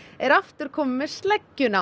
er aftur kominn með sleggjuna